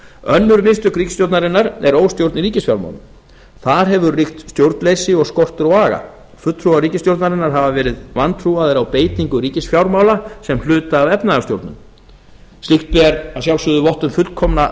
önnur mistök ríkisstjórnarinnar eru óstjórn í ríkisfjármálunum þar hefur ríkt stjórnleysi og skortur á aga fulltrúar ríkisstjórnarinnar hafa verið vantrúaðir á beitingu ríkisfjármála sem hluta af efnahagstjórn slíkt ber að sjálfsögðu vott um fullkomna